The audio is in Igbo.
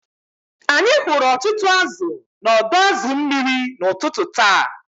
Anyị hụrụ ọtụtụ azụ̀ n’ọdọ azu mmiri n’ụtụtụ taa